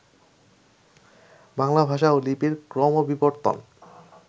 বাংলা ভাষা ও লিপির ক্রমবিবর্তন